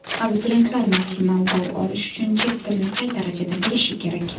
Abituriyentlar maksimal ball olishi uchun chet tilini qay darajada bilishi kerak?.